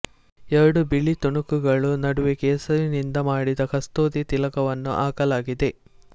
ಎರಡು ಬಿಳಿ ತುಣುಕುಗಳು ನಡುವೆ ಕೇಸರಿನಿಂದ ಮಾಡಿದ ಕಸ್ತೂರಿ ತಿಲಕವನ್ನು ಹಾಕಲಾಗಿದೆ